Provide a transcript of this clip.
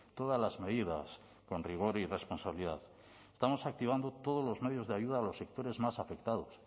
todas las medidas con rigor y responsabilidad estamos activando todos los medios de ayuda a los sectores más afectados